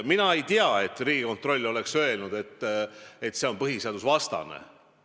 Mina ei tea, et Riigikontroll oleks öelnud, et see eelnõu on põhiseadusvastane.